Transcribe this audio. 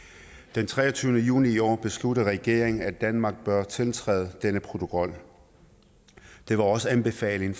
den treogtyvende juni i år besluttede regeringen at danmark bør tiltræde denne protokol det var også anbefalingen